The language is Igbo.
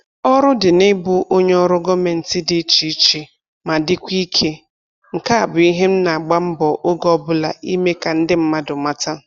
Ọrụ dị na-ịbụ onye ọrụ gọọmentị dị iche iche ma dịkwa ike, nke a bụ ihe m na-agba mbọ oge ọbụla ime ka ndị mmadụ mata